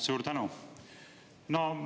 Suur tänu!